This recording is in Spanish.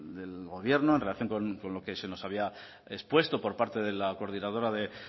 del gobierno en relación con lo que se nos había expuesto por parte de la coordinadora de